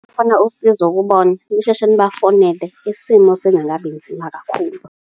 Ukufuna usizo kubona, nisheshe nibafonele, isimo sengangabi nzima kakhulu.